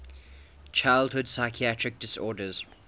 childhood psychiatric disorders